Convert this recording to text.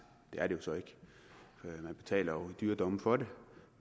det er det jo så ikke man betaler i dyre domme for det